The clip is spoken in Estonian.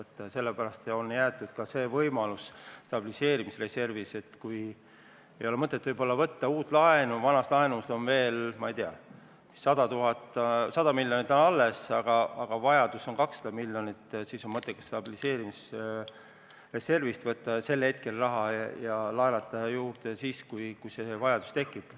Ja sellepärast on stabiliseerimisreservi puhul jäetud ka see võimalus, et kui ei ole mõtet võtta uut laenu, sest vanast laenust on veel, ma ei tea, 100 miljonit alles, aga vaja on 200 miljonit, siis on sel hetkel mõttekas võtta see raha stabiliseerimisreservist ja laenata juurde siis, kui vajadus tekib.